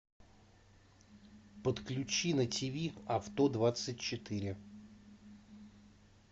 подключи на ти ви авто двадцать четыре